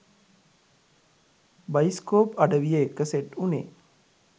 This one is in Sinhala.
බයිස්කෝප් අඩවිය එක්ක සෙට් උනේ.